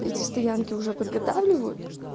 эти стоянке уже подготавливают